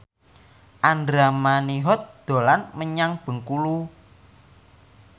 Andra Manihot dolan menyang Bengkulu